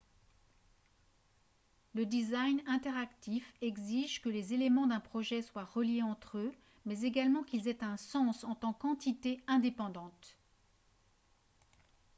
le design interactif exige que les éléments d'un projet soient reliés entre eux mais également qu'ils aient un sens en tant qu'entité indépendante